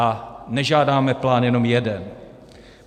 A nežádáme plán jenom jeden.